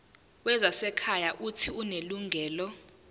wezasekhaya uuthi unelungelo